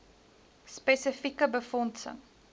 spesi eke befondsing